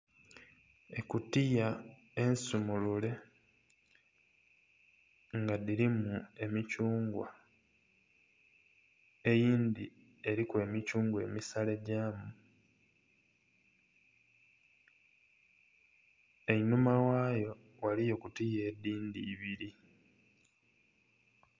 Ekutiya ensimulule nga dhirimu emithungwa eyindhi eriku emithungwa emisale gyamu einhuma ghayo ghaliyo kutiya edhindhi ibiri.